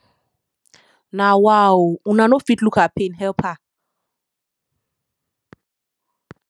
na wa o una no fit look her pain help her